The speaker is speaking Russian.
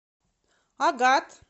агат